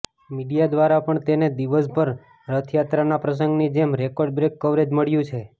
media દ્વારા પણ તેને દિવસભર રથયાત્રાના પ્રસંગની જેમ રેકોર્ડબ્રેક કવરેજ મળ્યું છે